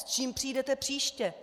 S čím přijdete příště?